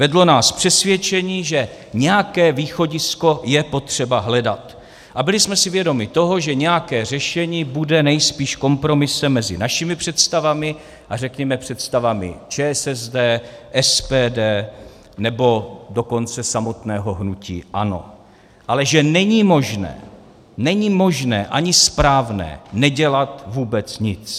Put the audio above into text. Vedlo nás přesvědčení, že nějaké východisko je potřeba hledat, a byli jsme si vědomi toho, že nějaké řešení bude nejspíš kompromisem mezi našimi představami a řekněme představami ČSSD, SPD, nebo dokonce samotného hnutí ANO, ale že není možné, není možné ani správné nedělat vůbec nic.